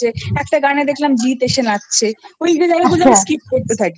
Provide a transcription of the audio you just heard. একটা গানে দেখলাম জিৎ এসে নাচছে ঐগুলো Skip